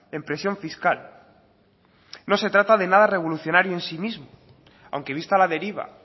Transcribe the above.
en presión fiscal no se trata de nada revolucionario en sí mismo aunque vista la deriva